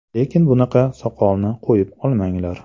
Lekin bunaqa soqolni qo‘yib olmanglar.